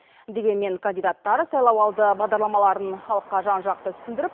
дегенмен кандидаттар сайлауалды бағдарламаларын халыққа жан жақты түсіндіріп